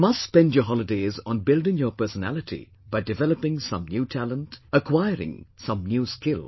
You must spend your holidays on building your personality by developing some new talent, acquiring some new skill